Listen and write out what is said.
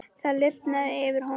Það lifnaði yfir honum.